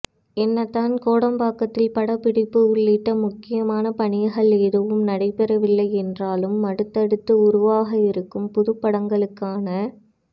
என்னதான் கோடம்பாக்கத்தில் படப்பிடிப்பு உள்ளிட்ட முக்கியமான பணிகள் எதுவும் நடைபெறவில்லை என்றாலும் அடுத்தடுத்து உருவாக இருக்கும் புதுப்படங்களுக்கான